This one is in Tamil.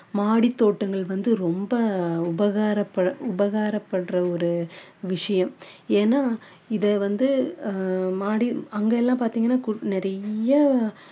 மாடி தோட்டங்கள் வந்து ரொம்ப உபகரப்ப~ உபாகரபடுற ஒரு விஷயம் ஏன்னா இதை வந்து ஆஹ் மாடி அங்க எல்லாம் பார்த்தீங்கன்னா கு~ நிறைய